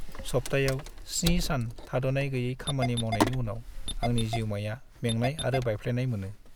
सप्तायाव 7 सान थाद'नाय गैयै खामानि मावनायनि उनाव आंनि जिउमाया मेंनाय आरो बायफ्लेनाय मोनो।